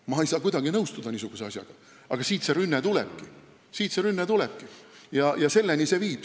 Ma ei saa kuidagi niisuguse asjaga nõustuda, aga siit see rünne tulebki, selleni see kõik viib.